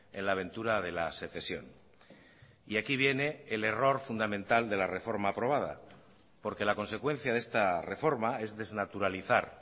en la aventura de la secesión y aquí viene el error fundamental de la reforma aprobada porque la consecuencia de esta reforma es desnaturalizar